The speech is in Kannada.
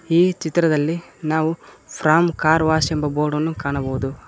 ಈ ಚಿತ್ರದಲ್ಲಿ ನಾವು ಫೋಂ ಕಾರ್ ವಾಶ್ ಎಂಬ ಬೋರ್ಡನ್ನು ಕಾಣಬಹುದು.